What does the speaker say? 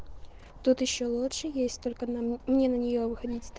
тут ещё лучше есть только на мне на нее выходить стр